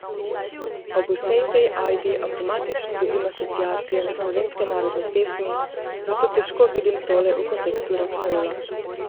Ob vsej tej ajdi avtomatično dobim asociacije na slovenske narodne pesmi, zato težko vidim tole v kontekstu rokenrola.